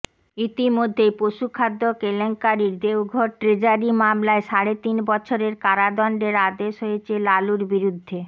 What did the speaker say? ইতিমধ্যেই পশুখাদ্য কেলেঙ্কারির দেওঘর ট্রেজারি মামলায় সাড়ে তিন বছরের কারাদণ্ডের আদেশ হয়েছে লালুর বিরুদ্ধে